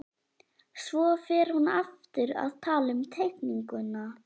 Svo fer hún aftur að tala um teikninguna